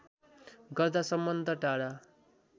गर्दा सम्बन्ध टाढा